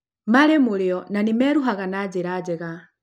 Marĩ mũrĩo na nĩ meruaga na njĩra njega